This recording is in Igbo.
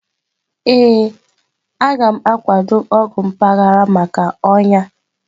Ee, a gam akwado ọgwụ mpaghara maka ọnya.-